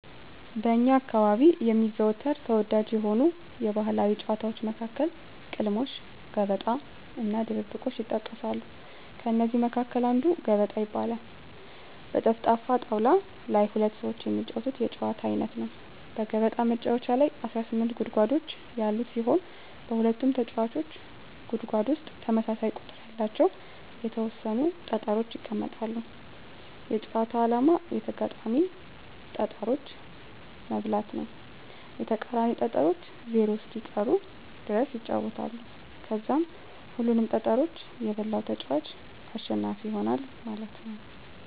በእኛ አካባቢ የሚዘወተር ተወዳጅ የሆኑ የባህላዊ ጨዋታዎች መካከል ቅልሞሽ: ገበጣ :እና :ድብብቆሽ ይጠቀሳሉ ከእነዚህ መካከል አንዱ ገበጣ ይባላል በጠፍጣፍ ጣወላ ላይ ሁለት ሰወች የሚጫወቱት የጨዋታ አይነት ነው በገበጣ መጫወቻ ላይ 18 ጉድጓዶች ያሉት ሲሆን በሁለቱም ተጫዋቾች ጉድጎድ ውስጥ ተመሳሳይ ቁጥር ያለቸው የተወሰኑ ጠጠሮች ይቀመጣሉ የጨዋታው አላማ የተጋጣሚን ጠጠሮች መብላት ነው የተቃራኒ ጠጠሮች ዜሮ እስኪቀሩ ድረስ ይጫወታሉ ከዛም ሁሉንም ጠጠሮች የበላው ተጫዋች አሸናፊ ይሆናል ማለት ነወ።